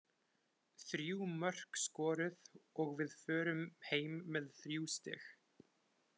Þrjú mörk skoruð og við förum heim með þrjú stig.